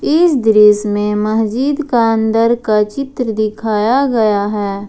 इस दृश्य में मस्जिद का अंदर का चित्र दिखाया गया है।